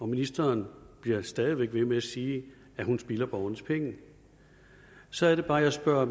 ministeren bliver stadig væk ved med at sige at hun spilder borgernes penge så er det bare at jeg spørger